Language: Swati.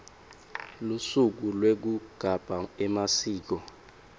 lusuku lwekugabha emasiko